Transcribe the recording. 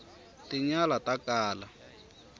tinyala ta kala